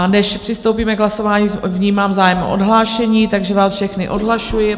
A než přistoupíme k hlasování, vnímám zájem o odhlášení, takže vás všechny odhlašuji.